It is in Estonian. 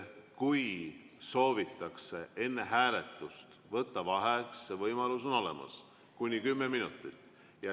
Kui soovitakse enne hääletust võtta vaheaega, siis see võimalus on olemas, kuni kümme minutit.